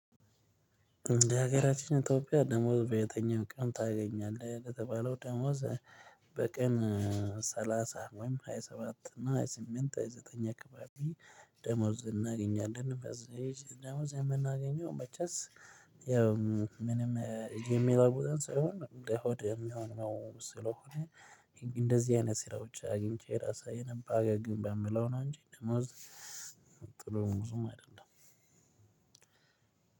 እንደ ሀገራችን ኢትዮጵያ ደሞዝ በየተኛው ቀን ታገኛለህ? እንደተባለው ደሞዝ በቀን ሰላሳ ወይም ሃያ ሰባት እና ሃያ ስምንት ሃያ ዘጠኝ አካባቢ ደሞዝ እናገኛለን እንደዚህ እንደዚህ የምናገኘው በቻስ። ምንም የሚለውጠን ሳይሆን እንደ ሆድ የሚሆን ነው። ስለሆነ እንደዚህ አይነት ስራዎች አግኝቼ ራሳዊ የነባበረ ግንብ የምለው ነው። እንጂ ደሞዝ ጥሎ ብዙም አይደለም።